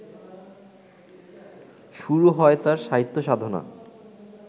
শুরু হয় তাঁর সাহিত্যসাধনা